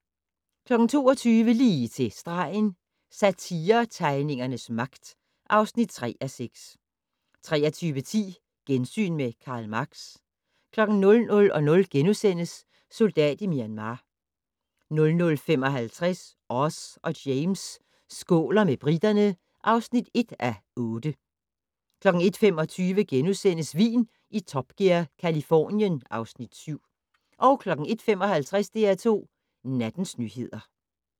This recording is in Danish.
22:00: Lige til stregen - Satiretegningernes magt (3:6) 23:10: Gensyn med Karl Marx 00:00: Soldat i Myanmar * 00:55: Oz og James skåler med briterne (1:8) 01:25: Vin i Top Gear - Californien (Afs. 7)* 01:55: DR2 Nattens nyheder